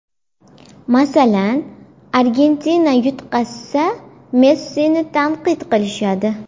Masalan, Argentina yutqazsa, Messini tanqid qilishadi.